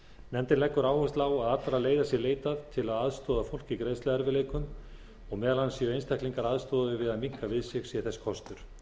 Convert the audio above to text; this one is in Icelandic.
nefndin leggur áherslu á að allra leiða sé leitað til að aðstoða fólk í greiðsluerfiðleikum og meðal annars séu einstaklingar aðstoðaðir við að minnka við sig sé þess kostur